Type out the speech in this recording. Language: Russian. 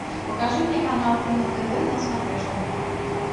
покажи мне канал кино тв на смотрешке